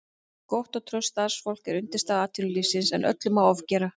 Gott og traust starfsfólk er undirstaða atvinnulífsins en öllu má ofgera.